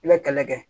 I bɛ kɛlɛ kɛ